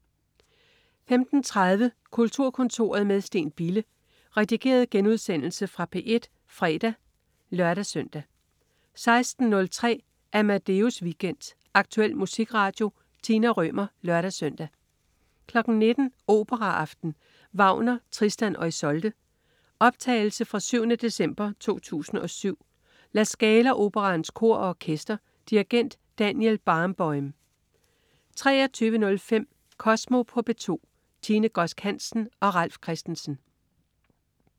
15.30 Kulturkontoret med Steen Bille. Redigeret genudsendelse fra P1 fredag (lør-søn) 16.03 Amadeus Weekend. Aktuel musikradio. Tina Rømer (lør-søn) 19.00 Operaaften. Wagner: Tristan og Isolde. Optagelse fra 7. december 2007. La Scala Operaens Kor og Orkester. Dirigent: Daniel Barenboim 23.05 Kosmo på P2. Tine Godsk Hansen og Ralf Christensen